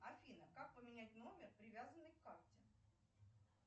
афина как поменять номер привязанный к карте